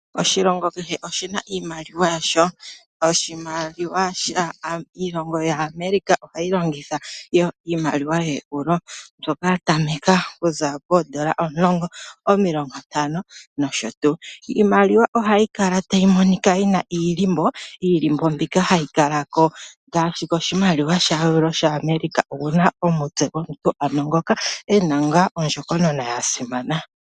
Oshilongo kehe oshi na iimaliwa yasho. Iilongo yaEuropa ohayi longitha iimaliwa yooeuro mbyoka ya tameka pooeuro omulongo, omilongontano nosho tuu. Iimaliwa ohayi kala tayi monika yi na iihako. Iihako mbyoka hayi kala ngaashi koshimaliwa shimwe shaeuropa oku na omutse gomuntu ngoka e na ngaa ondjokonona ya simana.